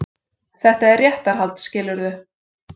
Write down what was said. Þetta er réttarhald, skilurðu.